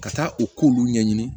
Ka taa u ko olu ɲɛɲini